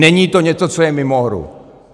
Není to něco, co je mimo hru.